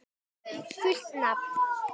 Fullt nafn?